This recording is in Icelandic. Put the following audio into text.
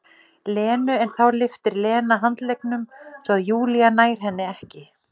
Lenu en þá lyftir Lena handleggnum svo að Júlía nær henni ekki.